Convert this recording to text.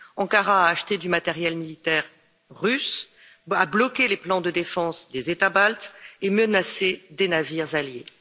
Ankara a acheté du matériel militaire russe, a bloqué les plans de défense des États baltes et menacé des navires alliés.